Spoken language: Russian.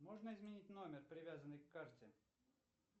можно изменить номер привязанный к карте